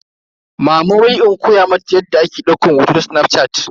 Mama wai in koya mata yadda ake daukan hoto ta snafshat.